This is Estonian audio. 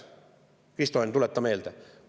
Kristo Enn, tuleta meelde!